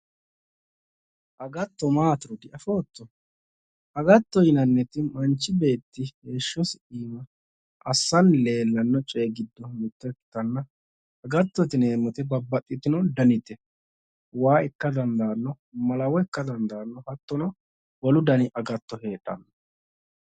Agatto maatiro diafootto, agattote yinnannoti manchi beetti heeshshosi iima assani leelano coyi giddo mitto ikkanna agattote yineemmoti babbaxitino dannite waa ikka dandaano, malawo ikka dandaano hattono wolu danni agatto heedhano.